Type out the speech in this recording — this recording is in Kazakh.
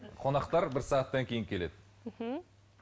қонақтар бір сағаттан кейін келеді мхм